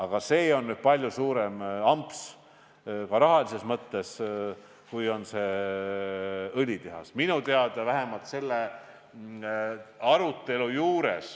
Aga see on nüüd palju suurem amps, ka rahalises mõttes, kui on õlitehas.